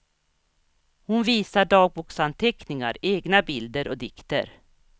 Hon visar dagboksanteckningar, egna bilder och dikter.